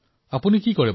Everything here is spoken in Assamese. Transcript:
আৰু আপুনি কি কৰে